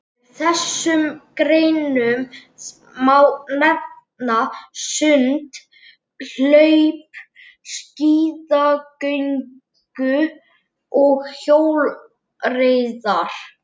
Af þessum greinum má nefna sund, hlaup, skíðagöngu og hjólreiðar.